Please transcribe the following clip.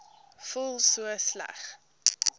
voel so sleg